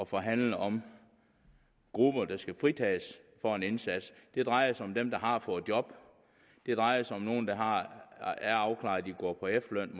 forhandle om grupper der skal fritages for en indsats det drejer sig om dem der har fået job det drejer sig om nogle der er afklarede og går på efterløn